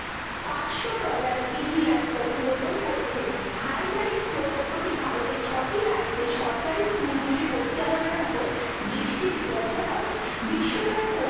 পাঁচশো dollar million অনুমোদন করেছে highlights প্রকল্পটি ভারতের ছয়টি রাজ্য সরকারি school গুলো পরিচালনা করার ওপর দৃষ্টিনিবদ্ধ করে বিশ্ব ব্যাংক কর্তৃক